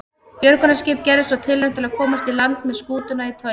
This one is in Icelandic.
Björgunarskip gerði svo tilraun til að komast í land með skútuna í togi.